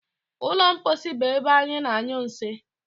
Ụlọ mposi bụ ebe ana- anyụ nsị.